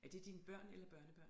Er det dine børn eller børnebørn